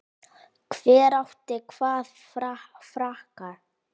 Hver átti hvaða frakka?